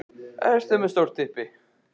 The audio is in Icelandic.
Getur svona lið staðið sig vel í efstu deild?